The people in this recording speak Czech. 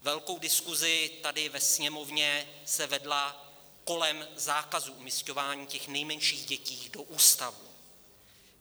Velká diskuze tady ve Sněmovně se vedla kolem zákazu umisťování těch nejmenších dětí do ústavů.